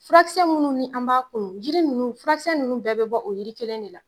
Furakisɛ munnu ni an b'a kunu jiri nunnu furakisɛ nunnu bɛɛ bi bɔ o yiri kelen de la